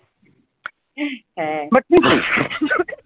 হম হ্যাঁ